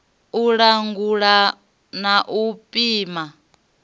u langula na u pima